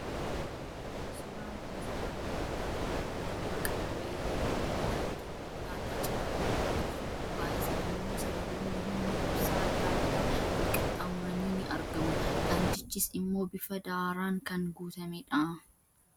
Suuraan kun, suuraa konkolaataan halluu diimaa qabu wayii yeroo inni daandii konkolaataa cinaa dhaabbatuu fi gubbaa isaa immoo sararoonni humna ibsaa addaa addaa wal qaxxaamuranii ni argamu. Daandichis immoo bifa daaraan kan guutamedha.